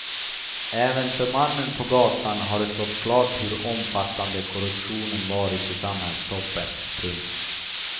Även för mannen på gatan har det stått klart hur omfattande korruptionen varit i samhällstoppen. punkt